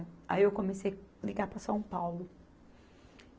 Aí eu comecei ligar para São Paulo.